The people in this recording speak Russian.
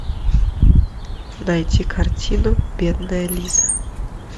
найти картину бедная лиза